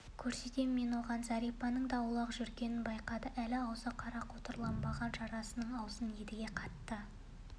көрсетемін мен оған зәрипаның да аулақ жүргенін байқады әлі аузы қара қотырланбаған жарасының аузын едіге қатты